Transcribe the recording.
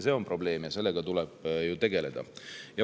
See on probleem ja sellega tuleb tegeleda.